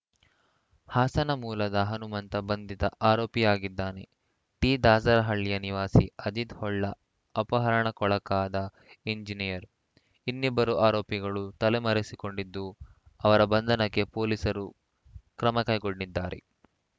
ಹಾಸನ ಮೂಲದ ಹನುಮಂತ ಬಂಧಿತ ಆರೋಪಿಯಾಗಿದ್ದಾನೆ ಟಿದಾಸರಹಳ್ಳಿಯ ನಿವಾಸಿ ಅಜಿತ್‌ ಹೊಳ್ಳ ಅಪಹರಣಕ್ಕೊಳಗಾದ ಎಂಜಿನಿಯರ್‌ ಇನ್ನಿಬ್ಬರು ಆರೋಪಿಗಳು ತಲೆಮರೆಸಿಕೊಂಡಿದ್ದು ಅವರ ಬಂಧನಕ್ಕೆ ಪೊಲೀಸರು ಕ್ರಮಕೈಗೊಂಡಿದ್ದಾರೆ